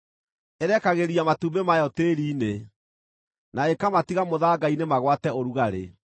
Ĩrekagĩria matumbĩ mayo tĩĩri-inĩ na ĩkamatiga mũthanga-inĩ magwate ũrugarĩ,